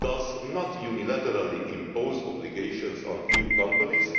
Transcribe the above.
It does not unilaterally impose obligations on EU companies